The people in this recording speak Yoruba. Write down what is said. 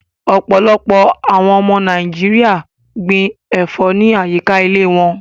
Ọpọlọpọ̀ awọn ọmọ orilẹ̀-èdè Nàìjíríà gbìn ẹ̀fọ̀ ni ayíkà ìlẹ̀ wọ̀n